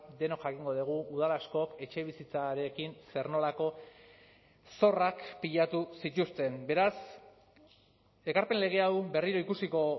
denok jakingo dugu udal askok etxebizitzarekin zer nolako zorrak pilatu zituzten beraz ekarpen lege hau berriro ikusiko